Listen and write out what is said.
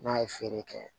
N'a ye feere kɛ